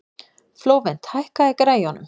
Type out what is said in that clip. Flóvent, hækkaðu í græjunum.